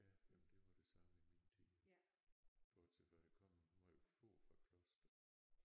Ja jamen det var det samme i min tid. Bortset fra der kom meget få fra Kloster